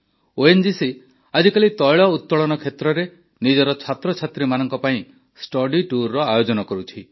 ONGC ଆଜିକାଲି ତୈଳ ଉତ୍ତୋଳନ କ୍ଷେତ୍ରରେ ନିଜର ଛାତ୍ରଛାତ୍ରୀମାନଙ୍କ ପାଇଁ ଷ୍ଟଡିଟୁର୍ର ଆୟୋଜନ କରୁଛି